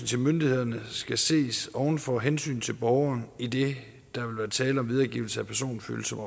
til myndighederne skal det ses over for hensynet til borgeren idet der vil være tale om videregivelse af personfølsomme